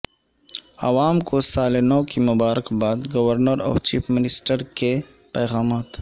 عوام کو سال نو کی مبارکباد گورنر اور چیف منسٹر کے پیغامات